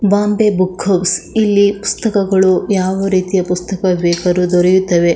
Bombay book house ಇಲ್ಲಿ ಪುಸ್ತಕಗಳು ಯಾವ ರೀತಿಯ ಪುಸ್ತಕ ಬೇಕಾರು ದೊರೆಯುತ್ತವೆ.